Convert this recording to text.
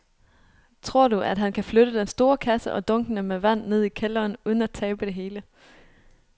Tror du, at han kan flytte den store kasse og dunkene med vand ned i kælderen uden at tabe det hele?